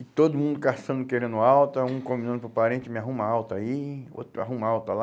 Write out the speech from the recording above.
E todo mundo caçando querendo alta, um combinando para o parente, me arruma alta aí, outro arruma alta lá.